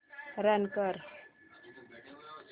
run कर